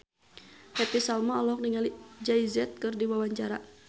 Happy Salma olohok ningali Jay Z keur diwawancara